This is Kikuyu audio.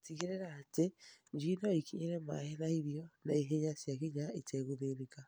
Tigĩrĩra atĩ njui no ikinyĩre maaĩ na irio naihenya ciakinya itegũthĩnĩka.